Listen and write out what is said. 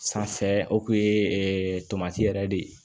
Sanfɛ o kun ye tomati yɛrɛ de ye